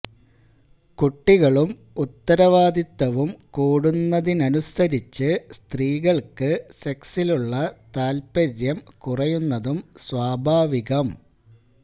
കുട്ടികളും ഉത്തരവാദിത്തവും കൂടുന്നതിനനുസരിച്ചു സ്ത്രീകൾക്ക് സെക്സിലുള്ള താൽപ്പര്യം കുറയുന്നതും സ്വാഭാവികം